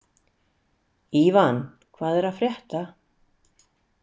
Ívan, hvað er að frétta?